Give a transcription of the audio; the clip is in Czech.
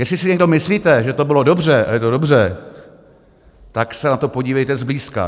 Jestli si někdo myslíte, že to bylo dobře a je to dobře, tak se na to podívejte zblízka.